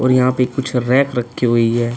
और यहाँ पे कुछ रैक रखी हुई है।